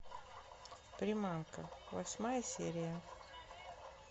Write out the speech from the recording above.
приманка восьмая серия